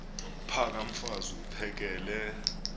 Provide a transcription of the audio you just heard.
phaka mfaz uphakele